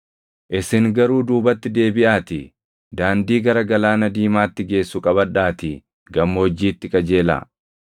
Isin garuu duubatti deebiʼaatii daandii gara Galaana Diimaatti geessu qabadhaatii gammoojjiitti qajeelaa.”